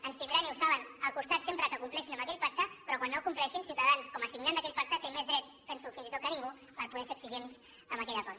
ens tindran i ho saben al costat sempre que compleixin amb aquell pacte però quan no el compleixin ciutadans com a signant d’aquell pacte té més dret penso fins i tot que ningú per poder ser exigents amb aquell acord